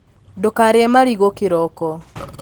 ndũkarĩe marigũ kĩroko